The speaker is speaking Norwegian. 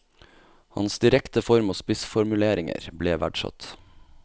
Hans direkte form og spissformuleringer ble verdsatt.